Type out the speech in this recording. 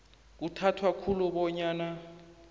kuthathwa khulu bonyana